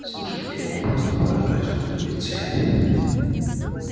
слушайте я вам просто поражаюсь возмутился я